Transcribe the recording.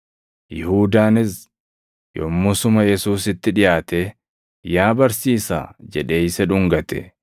Yihuudaanis yommusuma Yesuusitti dhiʼaatee, “Yaa Barsiisaa!” jedhee isa dhungate.